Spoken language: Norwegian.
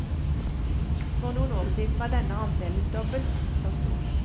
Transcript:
For noen år siden var denne andelen dobbelt så stor.